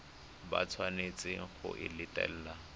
ba tshwanetseng go e latela